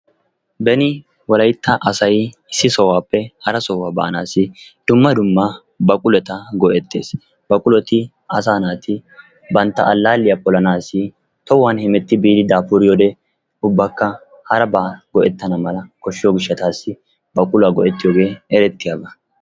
Beni wolaytta asay issi sohuwaappe hara sohuwa baanasi dumma dumma baqullotta go'ettes. Baqulotti asa naati bantta alalliyaa polanasi tohuwan hemetti biidi daafuriyode ubbaka harabba go'ettana mala koshshiyo gishshatasi baquluwaa go'ettiyoge erettiyaba.